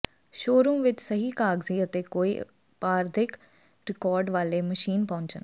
showroom ਵਿਚ ਸਹੀ ਕਾਗਜ਼ੀ ਅਤੇ ਕੋਈ ਅਪਰਾਧਿਕ ਰਿਕਾਰਡ ਵਾਲੇ ਮਸ਼ੀਨ ਪਹੁੰਚਣ